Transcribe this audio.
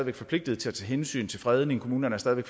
er forpligtet til at tage hensyn til fredninger og kommunerne stadig